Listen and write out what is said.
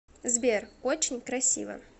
сбер очень красиво